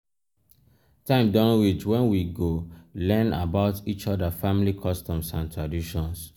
time don reach wen we go learn about each oda family customs and traditions.